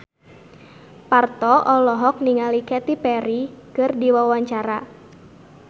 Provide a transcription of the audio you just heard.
Parto olohok ningali Katy Perry keur diwawancara